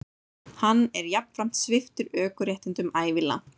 Hann er jafnframt sviptur ökuréttindum ævilangt